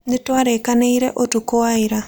Nĩ twarĩkanĩire ũtukũ wa ira.